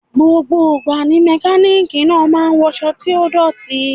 Gbogbo ìgbà ni Mẹkáníkì náà máa ń wọṣọ tí ó dọ̀tí.